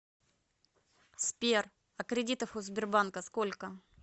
сбер а кредитов у сбербанка сколько